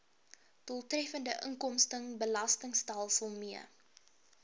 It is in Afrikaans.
doeltreffende inkomstebelastingstelsel mee